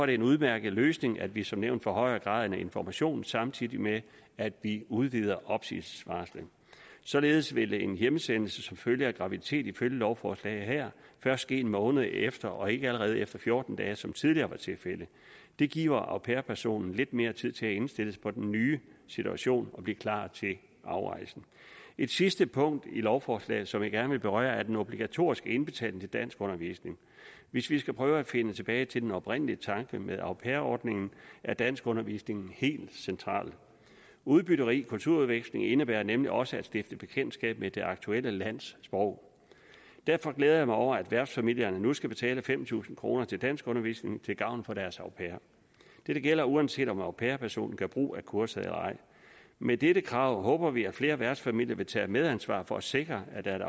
det en udmærket løsning at vi som nævnt forhøjer graden af information samtidig med at vi udvider opsigelsesvarslet således vil en hjemsendelse som følge af graviditet ifølge lovforslaget her først ske en måned efter og ikke allerede efter fjorten dage som tidligere var tilfældet det giver au pair personen lidt mere tid til at indstille sig på den nye situation og blive klar til afrejsen et sidste punkt i lovforslaget som jeg gerne vil berøre er den obligatoriske indbetaling til danskundervisning hvis vi skal prøve at finde tilbage til den oprindelige tanke med au pair ordningen er danskundervisningen helt central udbytterig kulturudveksling indebærer nemlig også at stifte bekendtskab med det aktuelle lands sprog derfor glæder jeg mig over at værtsfamilierne nu skal betale fem tusind kroner til danskundervisning til gavn for deres au pair dette gælder uanset om au pair personen gør brug af kurset eller ej med dette krav håber vi at flere værtsfamilier vil tage et medansvar for at sikre at